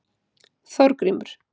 Þorgrímur